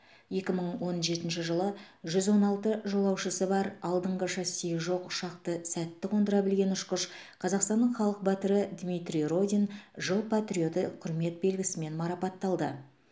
екі мың он жетінші жылы жүз он алты жолаушысы бар алдыңғы шассиі жоқ ұшақты сәтті қондыра білген ұшқыш қазақстанның халық батыры дмитрий родин жыл патриоты құрмет белгісімен марапатталды